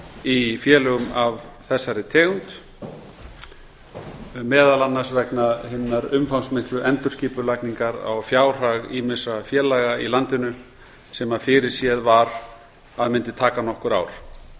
í félögum af þessari tegund meðal annars vegna hinnar umfangsmiklu endurskipulagningar á fjárhag ýmissa félaga í landinu sem fyrirséð var að mundi taka nokkur ár